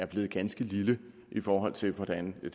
er blevet ganske lille i forhold til hvordan det